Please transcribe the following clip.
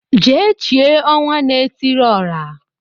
Jee chie Ọnwanaetiriọra